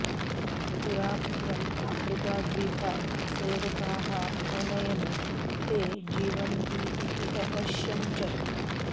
पुरा कथं अफ्रीकाद्वीपात् सेवकाः अनयन् ते जीवन्ति इति अपश्यन् च